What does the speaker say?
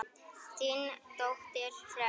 Þín dóttir, Hrönn.